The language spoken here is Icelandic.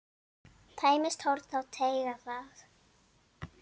Tæmist horn þá teygað er.